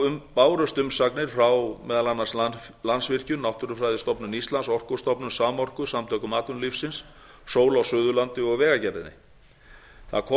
umsagnir bárust frá meðal annars landsvirkjun náttúrufræðistofnun íslands orkustofnun samorku samtökum atvinnulífsins sól á suðurlandi og vegagerðinni það kom